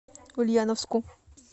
ульяновску